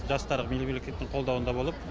жастар мемлекеттің қолдауында болып